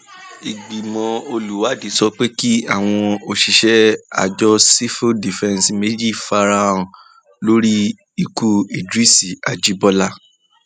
ìgbìmọ um olùwádìí sọ pé kí um àwọn òṣìṣẹ àjọ sefa fífẹǹsì méjì fara hàn lórí ikú idris ajibọlá